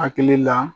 Hakili la